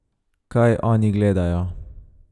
Kaj oni gledajo?